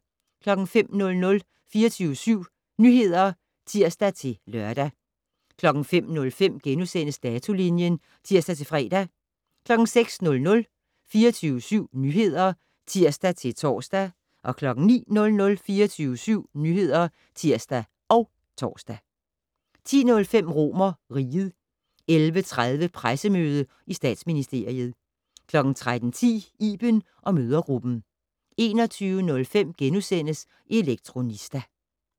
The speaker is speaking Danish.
05:00: 24syv Nyheder (tir-lør) 05:05: Datolinjen *(tir-fre) 06:00: 24syv Nyheder (tir-tor) 09:00: 24syv Nyheder (tir og tor) 10:05: RomerRiget 11:30: Pressemøde i Statsministeriet 13:10: Iben & mødregruppen 21:05: Elektronista *